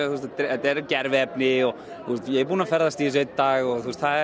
þetta er gerviefni og ég er búinn að ferðast í þessu í einn dag og